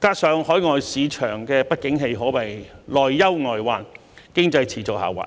加上海外市場不景氣，可謂內憂外患，經濟持續下滑。